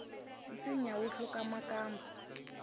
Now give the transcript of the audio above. nsinya wu hluku makamba